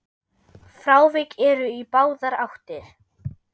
Frávik eru í báðar áttir.